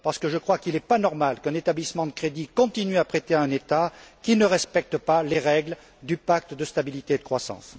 Je crois qu'il n'est pas normal qu'un établissement de crédit continue à prêter à un État qui ne respecte pas les règles du pacte de stabilité et de croissance.